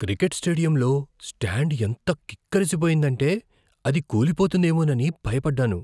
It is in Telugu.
క్రికెట్ స్టేడియంలో స్టాండ్ ఎంత కిక్కిరిసిపోయిందంటే, అది కూలిపోతుందేమోనని భయపడ్డాను.